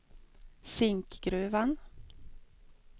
Zinkgruvan